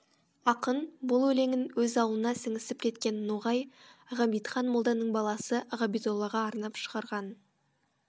ақын бүл елеңін өз ауылына сіңісіп кеткен ноғай ғабитхан молданың баласы ғабидоллаға арнап шығарған